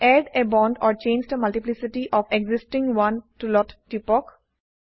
add a bond or change the multiplicity of existing one টুলত টিপক